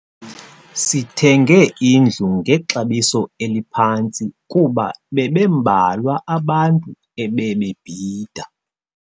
Sithenge indlu ngexabiso eliphantsi kuba bebembalwa abantu ebebebhida.